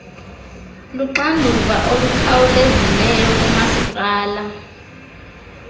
luxanduva olukhawulezileyo kumasipala